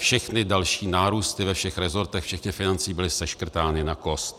Všechny další nárůsty ve všech resortech včetně financí byly seškrtány na kost.